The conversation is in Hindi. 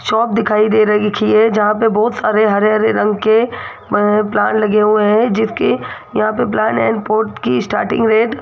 शॉप दिखाई दे रही थी ये जहां पे बहुत सारे हरे हरे रंग के अह प्लांट लगे हुए हैं जिसके यहां पे प्लांट एंड पोर्ट की स्टार्टिंग रेट --